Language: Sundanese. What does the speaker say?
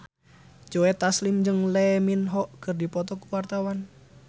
Joe Taslim jeung Lee Min Ho keur dipoto ku wartawan